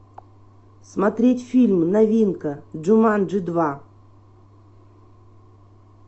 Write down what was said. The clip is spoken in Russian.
смотреть фильм новинка джуманджи два